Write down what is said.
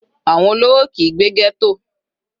Àwọn olówó kìí gbé ghetto.